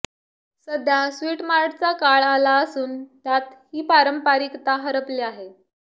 सध्या स्वीटमार्टचा काळ आला असून त्यात ही पारंपरिकता हरपली आहे